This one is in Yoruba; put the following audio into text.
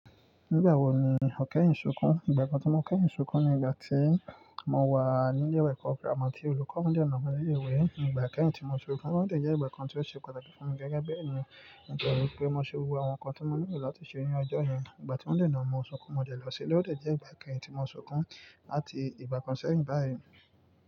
Nígbà wo ni o kẹ́yìn sunkún? Ìgbà kan tí mo kẹ́yìn sunkún ni ìgbà tí mo wà nílé ẹ̀kọ́ gírámà tí olùkọ́ mi dè na mi léèwé. Ní ìgbà kẹ́yìn tí mo sunkún, ó ti jẹ́ ìgbà kan tí ó ṣe pàtàkì fún mi gẹ́gẹ́ bí ènìyàn. Ó jẹ́ wípé mo ṣe gbogbo àwọn nǹkan tí mo nílò láti ṣe ní ọjọ́ yẹn. Ìgbà tí wón dè na mi mo sunkún, mo dẹ̀ lọ sílé ó de jẹ́ ìgbà kẹ́yìn tí mo sunkún láti ìgbà kan sẹ́yìn báyìí.